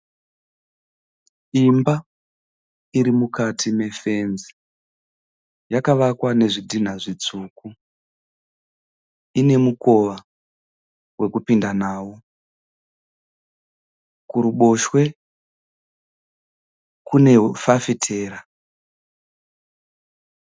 Imba iri mukati mefenzi yakavakwa nezvidhinha zvitsvuku. Ine mukova wekupinda nawo. Kuruboshwe kune fafitera.